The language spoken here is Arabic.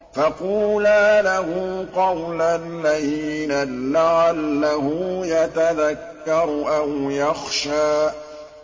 فَقُولَا لَهُ قَوْلًا لَّيِّنًا لَّعَلَّهُ يَتَذَكَّرُ أَوْ يَخْشَىٰ